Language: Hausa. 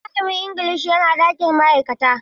Ee, malamin Ingilishi yana cikin ɗakin ma'aikata.